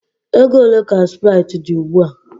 Ego ole ka sprite dị ugbu a?